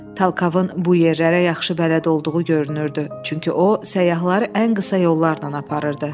Talkovun bu yerlərə yaxşı bələd olduğu görünürdü, çünki o səyyahları ən qısa yollarla aparırdı.